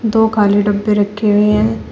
दो काले डब्बे रखे हुए हैं।